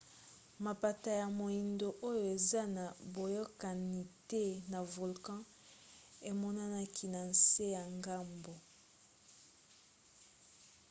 mapata ya moindo oyo eza na boyokani te na volcan emonanaki na nse ya ngomba